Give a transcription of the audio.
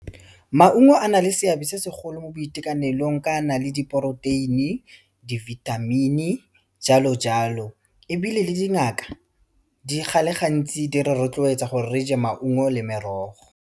Maungo a na le seabe se segolo mo boitekanelong ka a na le diporoteini, dibithamini, jalo-jalo ebile le dingaka di ga le gantsi di re rotloetsa gore re je maungo le merogo.